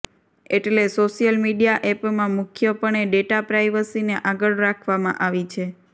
એટેલે social media એપમાં મુખ્યપણે data પ્રાઈવસીને આગળ રાખવામાં આવી છે